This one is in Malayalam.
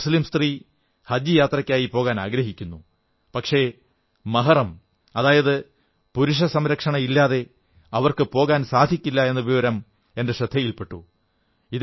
ഒരു മുസ്ലീം സ്ത്രീ ഹജ് യാത്രയ്ക്കായി പോകാനാഗ്രഹിക്കുന്നു പക്ഷേ മഹ്റം അതായത് പുരുഷസംരക്ഷണയില്ലാതെ അവർക്കുപോകാൻ സാധിക്കില്ല എന്ന വിവരം എന്റെ ശ്രദ്ധയിൽ പെട്ടു